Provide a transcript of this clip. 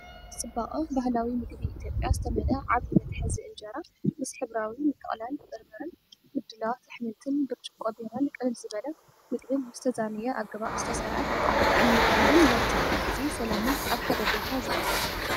ብጽባቐ ባህላዊ መግቢ ኢትዮጵያ ዝተመልአ ዓቢ መትሓዚ፡ አንጀራ ምስ ሕብራዊ ምጥቕላል በርበረን ምድላዋት ኣሕምልትን። ብርጭቆ ቢራን ቅልል ዝበለ መግብን ብዝተዛነየ ኣገባብ ዝተሰርዐ፣ ጣዕሚ ባህልን ናይ ትርፊ ግዜ ሰላምን ኣብ ሓደ ቦታ ዘቕርብ።